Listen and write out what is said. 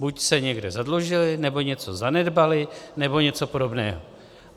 Buď se někde zadlužili, nebo něco zanedbali, nebo něco podobného.